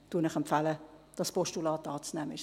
Ich empfehle Ihnen, dieses Postulat anzunehmen.